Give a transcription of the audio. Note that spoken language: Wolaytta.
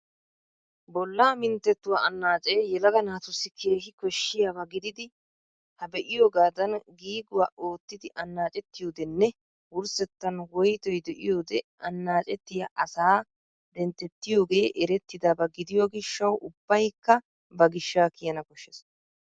Bolla minttettuwaa anaaccee yelaga naatussi keehii koshshiyaabaa gidid ha be'iyoogaadan giiguya oottidi annaccettiyodenne wurssettan woyttoy de'iyode annaccettiya asaa denttettiyoogee eretidabba gidiyo gishshawu ubbaykka ba gishsha kiyana koshshees.